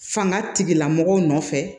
Fanga tigilamɔgɔw nɔfɛ